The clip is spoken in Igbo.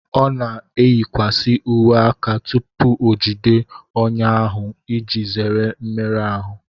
O na eyikwasị uwe aka tupu o jide ọnyà ahụ iji zere mmerụ ahụ